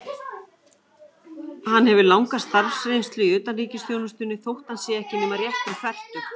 Hann hefur langa starfsreynslu í utanríkisþjónustunni, þótt hann sé ekki nema rétt um fertugt.